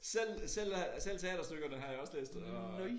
Selv selv øh selv teaterstykkerne har jeg også læst og